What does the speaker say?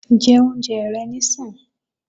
Jẹ oúnjẹ rẹ níìsín!